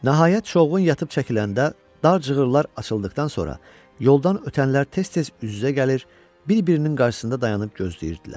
Nəhayət çovğun yatıb çəkiləndə dar cığırlar açıldıqdan sonra yoldan ötənlər tez-tez üz-üzə gəlir, bir-birinin qarşısında dayanıb gözləyirdilər.